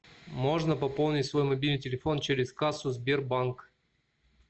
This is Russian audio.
можно пополнить свой мобильный телефон через кассу сбербанк